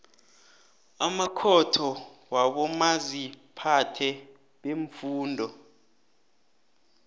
amakhotho wabomaziphathe beemfunda